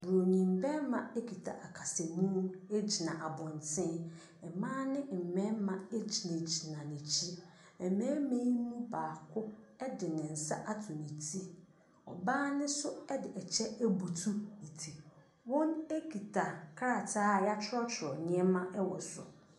Buronim barima kita akasamu gyina abɔntene. Mmaa ne mmarima gyinagyina n'akyi. Mmarima yi mu baako de ne nsa ato ne ti. Ɔbaa no nso de ɛkyɛ abutu ne ti. Wɔkita krataa a wɔatwerɛtwerɛ nneɛma wɔ so.